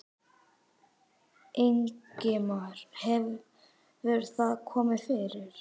Ingimar: Hefur það komið fyrir?